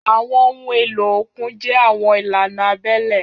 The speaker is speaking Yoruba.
Àwọn ohun èlò òkun jẹ́ àwọn ìlànà abẹ́lẹ̀.